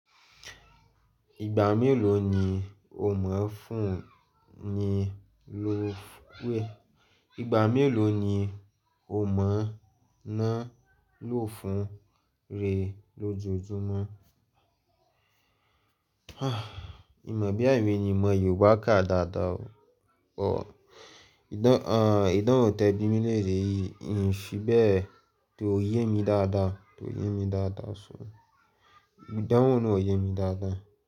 Ìgbà mélòó ni o máa ń fún ni ló wẹ̀? Ìgbà mélòó ni o máa ná ló fún re lójoojúmọ́? Mimọ̀ boya èmí ni mimọ Yorùbá ká dáadáa o. Ọ, ìdán, àń, ìdánwò tẹ̀bí mi léèrè yìí hìn fíbẹ̀, kó yé mi dáadáa, ko yé mi dáadáa sún. Ìdánwò náà ò yé mi dáadáa.